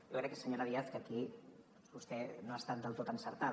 jo crec senyora díaz que aquí vostè no ha estat del tot encertada